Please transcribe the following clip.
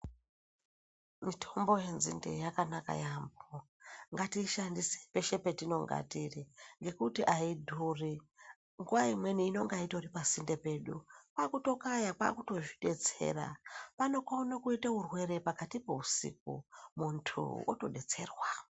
Mutombo yenzinde yakanaka yaamho, ngatiishandise peshe petinonga tiri ngekuti aidhuri. Nguwa imweni inonga itori pasinde pedu. Kwakutokaya kwakutozvidetsera. Anokona kuita urwere pakati peusiku, muntu otodetserwa.